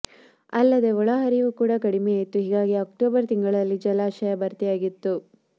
ಅಲ್ಲದೆ ಒಳಹರಿವು ಕೂಡ ಕಡಿಮೆಯಿತ್ತು ಹೀಗಾಗಿ ಅಕ್ಟೋಬರ್ ತಿಂಗಳಲ್ಲಿ ಜಲಾಶಯ ಭರ್ತಿಯಾಗಿತ್ತು